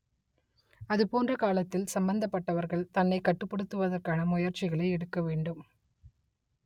அதுபோன்ற காலத்தில் சம்மந்தப்பட்டவர்கள் தன்னை கட்டுப்படுத்துவதற்கான முயற்சிகளை எடுக்க வேண்டும்